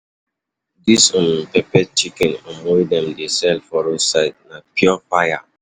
Dis um peppered chicken um wey dem dey um sell for roadside na pure fire!